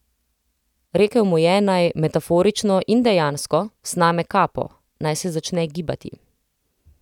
Rekel mu je, naj, metaforično in dejansko, sname kapo, naj se začne gibati.